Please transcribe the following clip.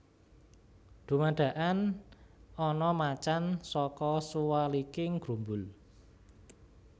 Dumadakan ana macan saka suwaliking grumbul